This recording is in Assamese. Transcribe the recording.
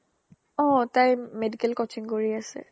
অ তাই medical coaching কৰি আছে